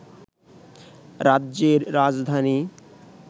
রাজ্যের রাজধানী